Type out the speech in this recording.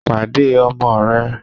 Pàdé ọmọ rẹ̀!